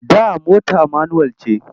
Da mota manuwal ce.